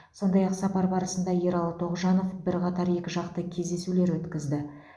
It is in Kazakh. сондай ақ сапар барысында ералы тоғжанов бірқатар екіжақты кездесулер өткізді